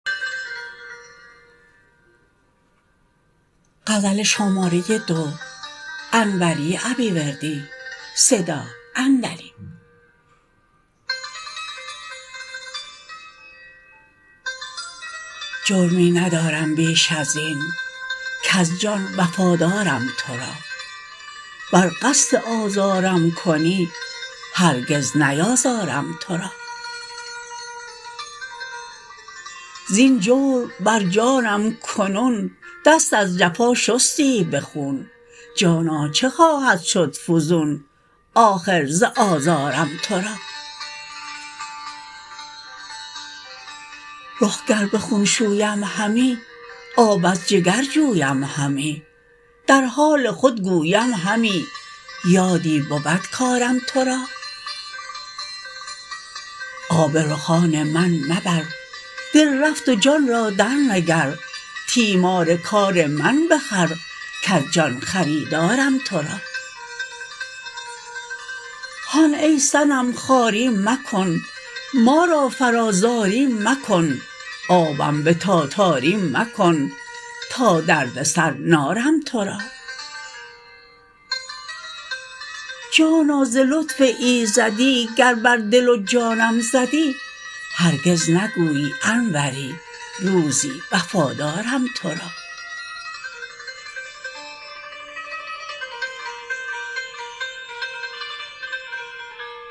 جرمی ندارم بیش از این کز جان وفادارم تو را ور قصد آزارم کنی هرگز نیازارم تو را زین جور بر جانم کنون دست از جفا شستی به خون جانا چه خواهد شد فزون آخر ز آزارم تو را رخ گر به خون شویم همی آب از جگر جویم همی در حال خود گویم همی یادی بود کارم تو را آب رخان من مبر دل رفت و جان را درنگر تیمار کار من بخور کز جان خریدارم تو را هان ای صنم خواری مکن ما را فرا زاری مکن آبم به تاتاری مکن تا دردسر نارم تو را جانا ز لطف ایزدی گر بر دل و جانم زدی هرگز نگویی انوری روزی وفادارم تو را